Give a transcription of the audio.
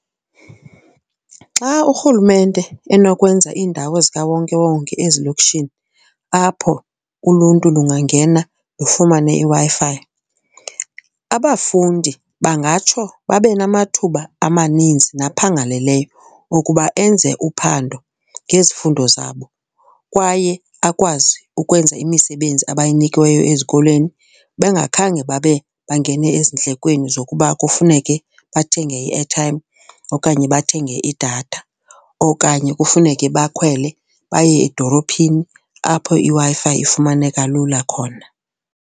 Xa urhulumente enokwenza iindawo zikawonkewonke ezilokishini apho uluntu lungangena lufumane iWi-Fi, abafundi bangatsho babe namathuba amaninzi naphangaleleyo okuba enze uphando ngezifundo zabo. Kwaye akwazi ukwenza imisebenzi abayinikiweyo ezikolweni bengakhange babe bangene ezindlekweni zokuba kufuneke bathenge i-airtime okanye bathenge idathao okanye kufuneke bakhwele baye edolophini apho iWi-Fi ifumaneka lula khona.